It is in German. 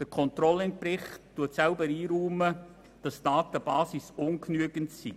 Der Controlling-Bericht räumt selber ein, dass die Datenbasis ungenügend sei.